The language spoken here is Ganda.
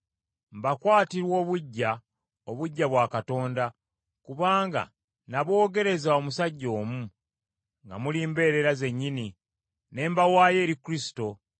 Mbakwatirwa obuggya, obuggya bwa Katonda, kubanga naboogereza omusajja omu, nga muli mbeerera zennyini, ne mbawaayo eri Kristo;